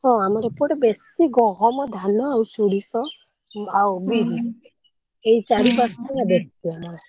ହଁ ଆମର ଏପଟେ ବେଶୀ ଗହମ ଧାନ ଆଉ ସୋରିଷ ଆଉ ବିରି ଏଇ ଚାରି ପାଞ୍ଚ ଟା ବେଶୀ ଆମର।